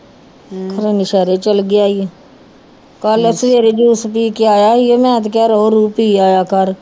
ਖਰੇ ਸ਼ਹਿਰੇ ਚਲੇ ਗਿਆ ਸੀ ਕੱਲ੍ਹ ਸਵੇਰੇ ਜੂਸ ਪੀ ਕੇ ਆਇਆ ਸੀ ਮੈਂ ਤੇ ਕਿਹਾ ਰੋਹ ਰੂਹ ਪੀ ਆਇਆ ਕਰ